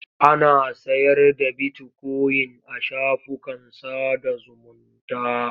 Ana sayar da bitikoyin a shafukan sada zumunta.